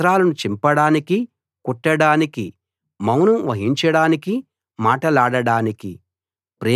వస్త్రాలను చింపడానికీ కుట్టడానికీ మౌనం వహించడానికీ మాటలాడడానికీ